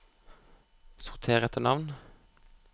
sorter etter navn